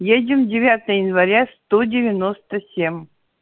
едем девятое января сто девяносто семь